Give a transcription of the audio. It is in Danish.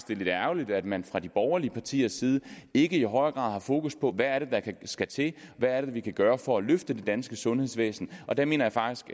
det er lidt ærgerligt at man fra de borgerlige partiers side ikke i højere grad har fokus på hvad der skal til hvad vi kan gøre for at løfte det danske sundhedsvæsen og der mener jeg faktisk